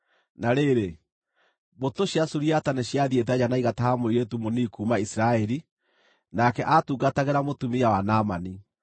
Na rĩrĩ, mbũtũ cia Suriata nĩciathiĩte nja na igataha mũirĩtu mũnini kuuma Isiraeli, nake aatungatagĩra mũtumia wa Naamani.